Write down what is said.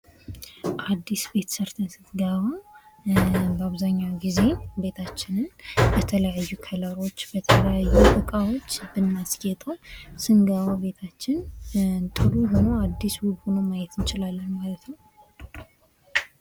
አዲስ ቤት ሰርተህ ስትገባ በአብዛኛው ጊዜ ቤታችንን በተለያዩ ከለሮች በተለያዩ እቃዎች ብናስጌጠው ስንገባ ቤታችን ጥሩ ሆኖ አዲስ ዉብ ሆኖ ልናየው እንችላለን ማለት ነው::